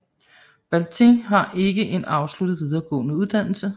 Baltiņš har en ikke afsluttet videregående uddannelse